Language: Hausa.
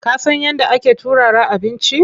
Ka san yadda ake turara abinci?